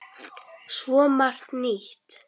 Svo margt nýtt.